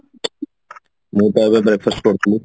ମୁଁ ବା ଏବେ breakfast କରୁଥିଲି